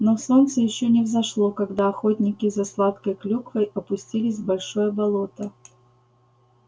но солнце ещё не взошло когда охотники за сладкой клюквой спустились в большое болото